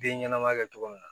Den ɲɛnɛma kɛ cogo min na